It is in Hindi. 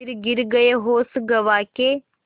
फिर गिर गये होश गँवा के